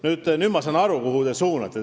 Kuid nüüd ma saan aru, mis suunas te küsite.